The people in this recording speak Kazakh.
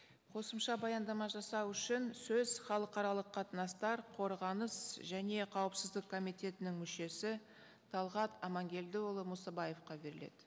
қосымша баяндама жасау үшін сөз халықаралық қатынастар қорғаныс және қауіпсіздік комитетінің мүшесі талғат аманкелдіұлы мұсабаевқа беріледі